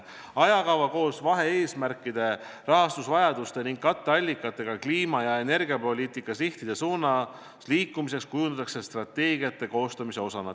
Ajakava koos vahe-eesmärkide, rahastusvajaduse ning katteallikatega kliima- ja energiapoliitika sihtide suunas liikumiseks kujundatakse strateegiate koostamise osana.